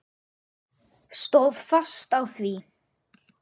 Stóð fast á því.